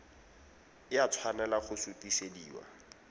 e a tshwanela go sutisediwa